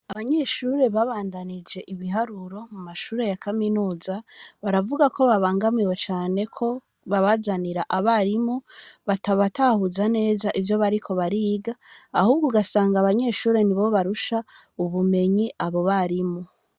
Abanyeshure babandanije ibiharuro mu mashure ya kaminuza, baravuga ko babangamiwe cane ko babazanira abarimu batabatahuza neza ivyo bariko bariga, ahubwo ugasanga abanyeshure, nibo barusha ubumenyi abo barimu.